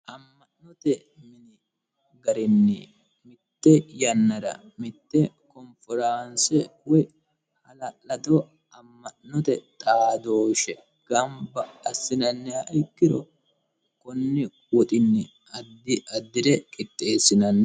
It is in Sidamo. Ama'note mini garrini mitte yannara mitte konnifforaanise woyi halaladdo ama'note xaadoshe gamibba asinnaniha ikkiro Koni woxxini addi adire qixxesinanni